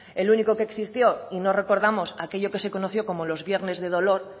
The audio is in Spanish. el único que existió y no recordamos aquello que se conoció como los viernes de dolor